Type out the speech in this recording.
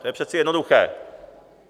To je přece jednoduché.